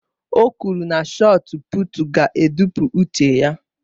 O kwuru na shọọt pụụtu ga-adọpụ uche ya